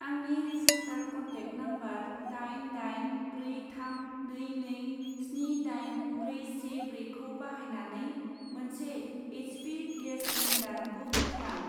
आंनि registered contact number दाइन दाइन ब्रै थाम नै नै स्नि दाइन ब्रै से ब्रैखौ बाहायनानै मोनसे H P gas cylinder book खालाम।